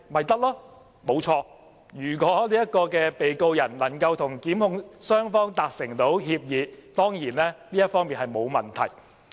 正確，如果被告人能夠與控方互相達成協議，當然這沒有問題。